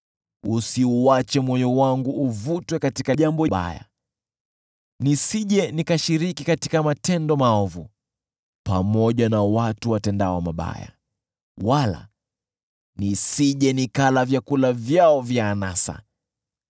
Usiuache moyo wangu uvutwe katika jambo baya, nisije nikashiriki katika matendo maovu pamoja na watu watendao mabaya, wala nisije nikala vyakula vyao vya anasa.